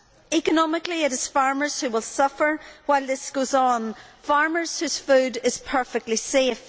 Economically, it is farmers who will suffer while this goes on farmers whose food is perfectly safe.